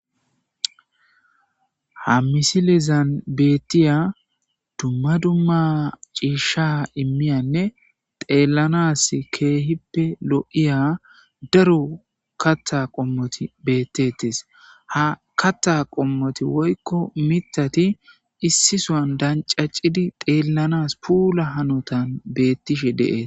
Ha misilizan beeththiya dumma dumma ciishsha immiyanne xeellanas keehippe lo7iya daro kaththa qommothi beeththeeththes; ha kaththa qommothi woykko miththathi issi sohan danccaccidi xeellanas puula hanothan beeththishe de7ees.